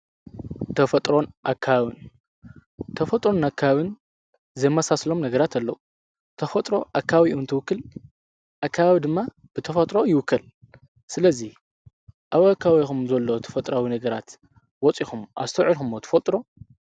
ጥንካን ተፈጥሮን ኣካውን ዘማሳስሎም ነገራት ኣለዉ ተፈጥሮ ኣካዊኡ ንትውክል ኣካባብ ድማ ብተፈጥሮ ይውከል ስለዙይ ኣብ ኣካዊኹም ዘሎ ተፈጥራዊ ነገራት ወፂኹም ኣስተውዒልኹሞ ተፈልጥሮ።